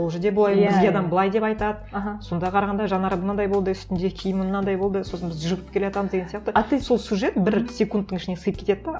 ол жерде бізге адам былай деп айтады сонда қарағанда жанар мынандай болды үстінде киімі мынандай болды сосын біз жүріп келе жатамыз деген сияқты сол сюжет бір секундтың ішіне сиып кетеді де